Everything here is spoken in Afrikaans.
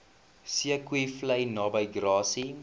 zeekoevlei naby grassy